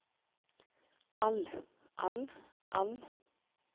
all all all